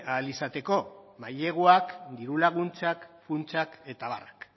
ahal izateko maileguak diru laguntzak funtsak eta abarrak